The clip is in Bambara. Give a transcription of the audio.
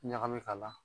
Ɲagami k'a la